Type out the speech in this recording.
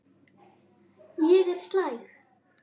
Ég er slæg.